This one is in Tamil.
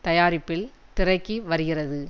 தயாரிப்பில் திரைக்கு வருகிறது